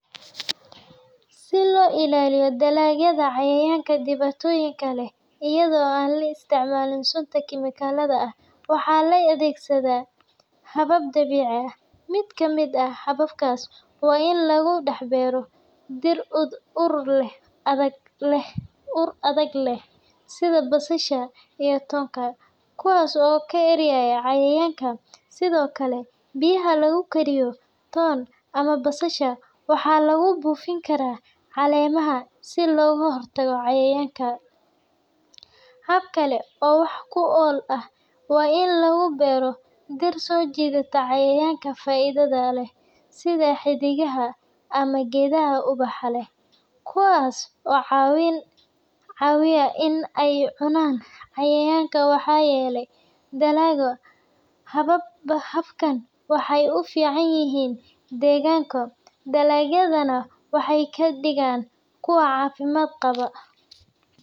Si loo ilaaliyo dalagyada cayayaanka dhibaatooyinka leh iyadoo aan la isticmaalin sunta kiimikalada ah, waxaa la adeegsadaa habab dabiici ah. Mid ka mid ah hababkaas waa in lagu dhex beero dhir ur adag leh sida basasha iyo toonka, kuwaas oo ka erya cayayaanka. Sidoo kale, biyaha lagu kariyo toon ama basasha waxaa lagu buufin karaa caleemaha si looga hortago cayayaanka. Hab kale oo wax ku ool ah waa in la beero dhir soo jiidata cayayaanka faa’iidada leh sida xiddigaha ama geedaha ubaxa leh, kuwaas oo caawiya in ay cunaan cayayaanka waxyeelleeya dalagga. Hababkan waxay u fiican yihiin deegaanka, dalagyadana waxay ka dhigaan kuwo caafimaad qaba.